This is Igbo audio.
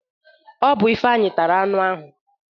Ọbụ Ifeanyi tara anu ahụ.